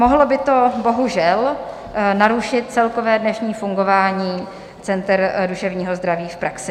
Mohlo by to bohužel narušit celkové dnešní fungování center duševního zdraví v praxi.